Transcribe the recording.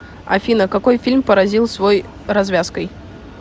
афина какой фильм поразил свой развязкой